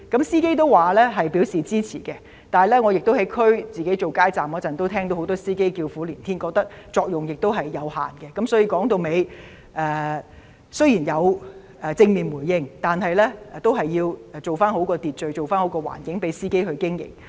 司機都對有關措施表示支持，但我在所屬選區擺街站時，仍聽到很多司機叫苦連天，覺得有關措施作用有限，一言蔽之，雖然有關措施獲正面回應，但政府都要做好秩序、環境讓司機經營。